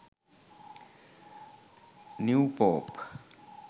new pope